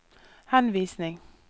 henvisning